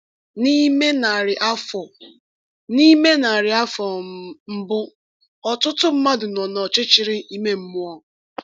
N’ime narị afọ N’ime narị afọ um mbụ, ọtụtụ mmadụ nọ n’ọchịchịrị ime mmụọ.